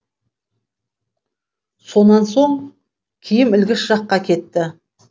сонан соң киім ілгіш жаққа кетті